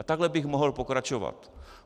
A takhle bych mohl pokračovat.